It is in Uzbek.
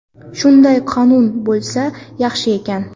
Shunday qonun bo‘lsa yaxshi ekan.